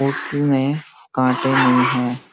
पोटली में काँटें नहीं है।